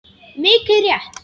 Mikið rétt.